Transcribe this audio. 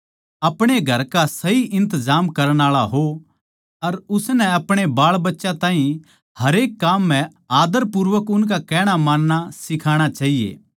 अपणे घर का सही इन्तजाम करण आळा हो अर उसनै अपणे बाळबच्यां ताहीं हरेक काम म्ह आदरपूर्वक उसका कहणा मानणा सिखाणा चाहिए